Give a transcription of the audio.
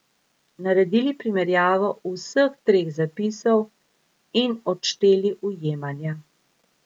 Naredili primerjavo vseh treh zapisov in odšteli ujemanja.